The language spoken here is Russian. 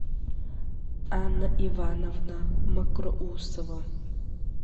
анна ивановна мокроусова